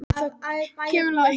Valborg, hvaða leikir eru í kvöld?